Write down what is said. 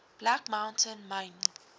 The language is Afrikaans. black mountain myn